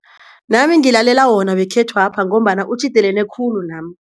Nami ngilalela wona wekhethwapha ngombana utjhidelene khulu nami.